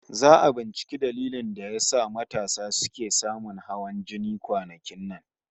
Za'a yi binciken dalilin da ke haddasa matasa suke samun hawan jini kwanakin nan